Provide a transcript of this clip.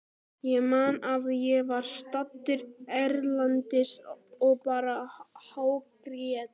Ég man að ég var staddur erlendis og bara hágrét.